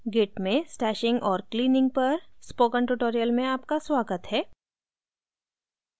git में stashing और cleaning पर spoken tutorial में आपका स्वागत है